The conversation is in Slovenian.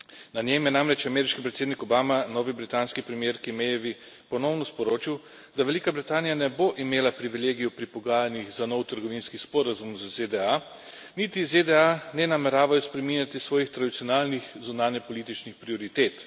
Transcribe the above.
Na njem je namreč ameriški predsednik Obama novi britanski premierki Mayevi ponovno sporočil, da Velika Britanija ne bo imela privilegijev pri pogajanjih za nov trgovinski sporazum z ZDA, niti ZDA ne nameravajo spreminjati svojih tradicionalnih zunanjepolitičnih prioritet.